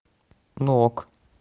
ну ок